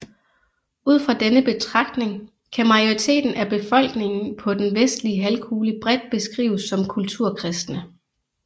Ud fra denne betragtning kan majoriteten af befolkningen på den vestlige halvkugle bredt beskrives som kulturkristne